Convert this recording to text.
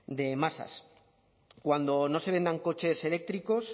de masas cuando no se vendan coches eléctricos